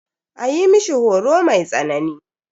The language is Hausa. A yi mishi horo mai tsanani.